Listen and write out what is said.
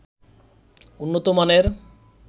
উন্নত মানের